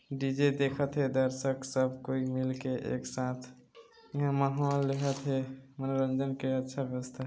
DJ देखत हे दर्शक सब कोई मिलके एक साथ मनोरंजन के अच्छा व्यवस्था--।